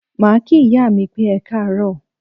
Màá kí ìyá mi pé Ekáàróò.